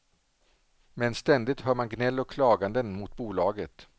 Men ständigt hör man gnäll och klaganden mot bolaget.